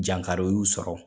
Jankari y'u sɔrɔ.